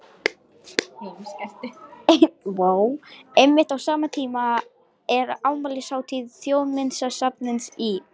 Einmitt á sama tíma er afmælishátíð Þjóðminjasafnsins í